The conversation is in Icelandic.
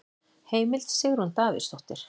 Heimild: Sigrún Davíðsdóttir.